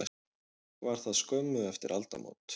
Var það skömmu eftir aldamót.